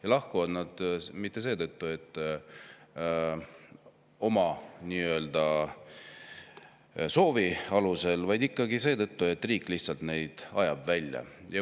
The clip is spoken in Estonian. Ja nad ei lahku mitte oma soovi alusel, vaid ikkagi seetõttu, et riik lihtsalt ajab nad maalt välja.